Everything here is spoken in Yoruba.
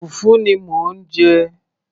fùfú ni mò ń jẹ